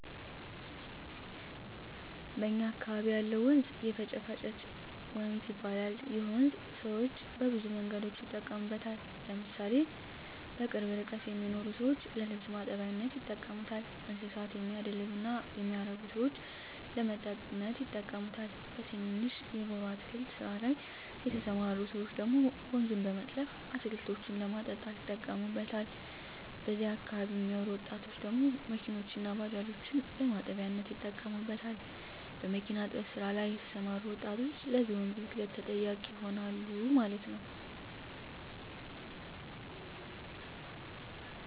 በእኛ አካበቢ ያለው ወንዝ የፈጭፍጭት ወንዝ ይባላል ይህ ወንዝ ሰወች በብዙ መንገዶች ይጠቀሙበታል ለምሳሌ በቅርብ ርቀት የሚኖሩ ሰወች ለልብስ ማጠቢያነት ይጠቀሙበታል: እንስሳት የሚያደልብ እና የሚያረብ ሰወች ለመጠጥነት ይጠቀሙበታል በትንንሽ የጎሮ አትክልት ስራ ላይ የተስማሩ ሰወች ደግሞ ወንዙን በመጥለፍ አትክልቶችን ለማጠጣት ይጠቀሙታል በዚህ አካባቢ የሚኖሩ ወጣቶች ደግሞ መኪኖችን እና ባጃጆችን ለማጠቢያነት ይጠቀሙበታል። በሚኪና እጥበት ስራ ላይ የተሰማሩ ወጣቶች ለዚህ ወንዝ ብክለት ተጠያቂ ይሆናሉ ማለት ነው